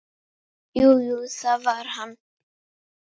Jú, jú, það var hann.